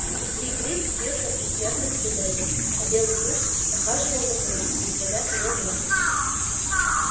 лип лип бился в предсмертных судорогах а белый клык похажи-вал вокруг не сводя с него глаз